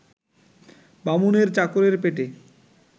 বামুনের চাকরের পেটে